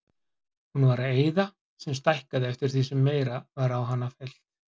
Hún var eyða sem stækkaði eftir því sem meira var í hana fyllt.